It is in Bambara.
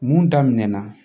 Mun daminɛna